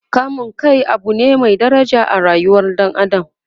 kamun Kai Abu ne Mai daraja a rayuwar ɗan adam